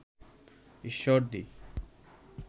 Ishwardi